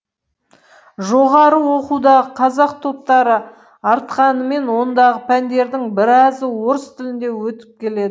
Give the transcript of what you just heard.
жоғары оқудағы қазақ топтары артқанымен ондағы пәндердің біразы орыс тілінде өтіп келеді